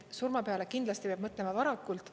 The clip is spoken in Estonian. Surma peale kindlasti peab mõtlema varakult.